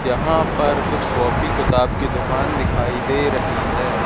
यहां पर कुछ कॉपी किताब की दुकान दिखाई दे रही है।